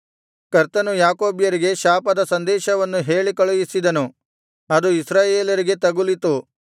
ಕರ್ತನು ಯಾಕೋಬ್ಯರಿಗೆ ಶಾಪದ ಸಂದೇಶವನ್ನು ಹೇಳಿ ಕಳುಹಿಸಿದನು ಅದು ಇಸ್ರಾಯೇಲರಿಗೆ ತಗುಲಿತು